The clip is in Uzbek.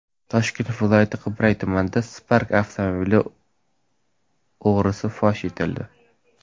Toshkent viloyati Qibray tumanida Spark avtomobili o‘g‘risi fosh etildi.